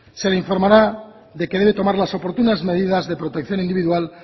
se le informará de que debe tomar las oportunas medidas de protección individual